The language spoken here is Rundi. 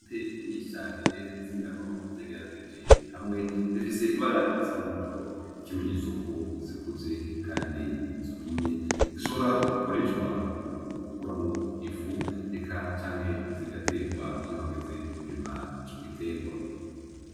Intete nyinshi cane z’ingano zegeranirije hamwe zifise ibara risa n’umuhondo nk’ikimenyetso ko zikuze kandi zumye ,zishobora gukoreshwa mu gukuramwo ifu eka canke zigaterwa iyo hageze kurima ico giterwa.